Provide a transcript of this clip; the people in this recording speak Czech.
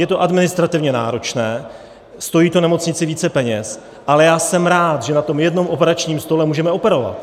Je to administrativně náročné, stojí to nemocnici více peněz, ale já jsem rád, že na tom jednom operačním stole můžeme operovat.